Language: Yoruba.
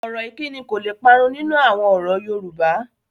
Ọ̀rọ̀ ìkíni kò le parun nínú àwọn ọ̀rọ̀ Yorùbá